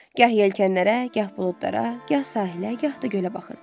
Gah yelkənlərə, gah buludlara, gah sahilə, gah da gölə baxırdı.